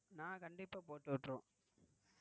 நான் கண்டிப்பா போட்டு விட்டிருவோம்.